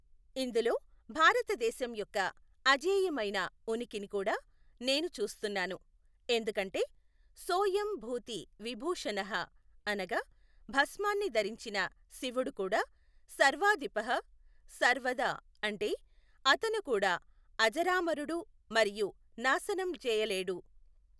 ఇందులో భారతదేశం యొక్క అజేయమైన ఉనికిని కూడా నేను చూస్తున్నాను, ఎందుకంటే, సోయం భూతి విభూషణః అనగా భస్మాన్ని ధరించిన శివుడు కూడా సర్వాధిపః సర్వదా అంటే, అతను కూడా అజరామరుడు మరియు నాశనం చేయలేడు.